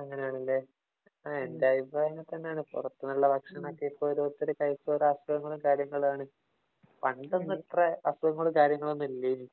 അങ്ങനെയാണല്ലേ. എന്‍റെ അഭിപ്രായവും അങ്ങനെ തന്നെയാണ്. പൊറത്ത് നിന്നു ഭക്ഷണംഇപ്പൊ ഓരോത്തരു കഴിച്ചു ഓരോ അസുഖങ്ങളും,, കാര്യങ്ങളും ആണ്. പണ്ട് ഒന്നും ഇത്ര അസുഖങ്ങളും, കാര്യങ്ങളും ഒന്നും ഇല്ലേനി.